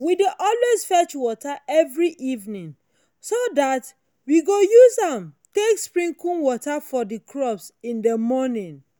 we dey always fetch wata every evenin so dat we go use am take sprinkle water for the crops in the morning.